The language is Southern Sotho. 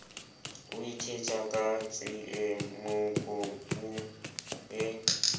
o ithetsa ka tsiemokopu e